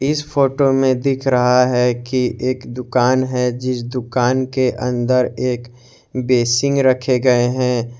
इस फोटो में दिख रहा है कि एक दुकान है जिस दुकान के अंदर एक बेसिंग बेसिन रखे गये हैं।